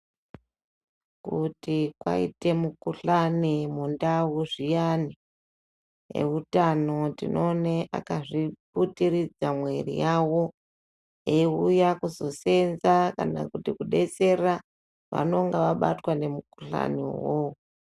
Kuti kwaite mukhuhlani mundau zviyani eutano tinoone akazvioutiridza mwiri yavo. Eiuya kuzoseenza kana kuti kunodetsera vanenge vabatwa nemukhuhlani wowowo.